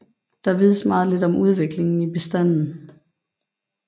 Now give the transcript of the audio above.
Der vides meget lidt om udviklingen i bestanden